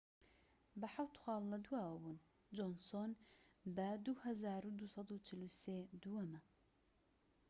بە حەوت خاڵ لە دواوە بوون جۆنسۆن بە 2243 دووەمە